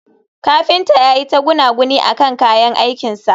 kafinta yayi ta gunaguni akan kayan aikin sa